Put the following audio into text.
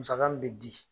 Musaka min bɛ di